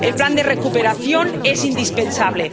El Plan de Recuperación es indispensable.